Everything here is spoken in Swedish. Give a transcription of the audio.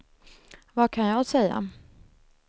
vad kan jag säga